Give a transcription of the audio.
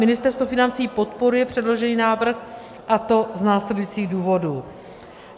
Ministerstvo financí podporuje předložený návrh a to z následujících důvodů.